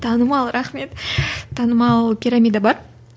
танымал рахмет танымал пирамида бар